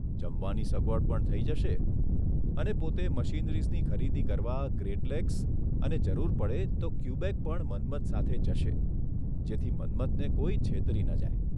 જમવાની સગવડ પણ થઇ જશે અને પોતે મશીનરીઝની ખરીદી કરવા ગ્રેટ લેક્સ અને જરૂર પડે તો ક્યુબેક પણ મન્મથન સાથે જશે જેથી મન્મથને કોઇ છેતરી ન જાય.